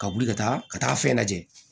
Ka wuli ka taa ka taa fɛn lajɛ